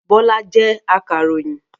Bọ́lá jẹ́ akàròyìn.